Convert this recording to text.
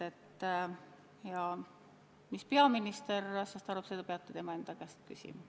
Aga mis peaminister asjast arvab, seda peate tema enda käest küsima.